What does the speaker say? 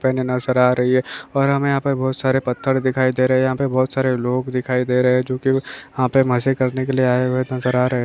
पहने नजर आ रही है और हमे यहाँ पे बहुत सारे पत्थर दिखाई दे रहे है यहाँ पे बहुत सारे लोग दिखाई दे रहे है जो कि यहाँ पे मजे करने के लिए आए हुए नजर आ रहे है।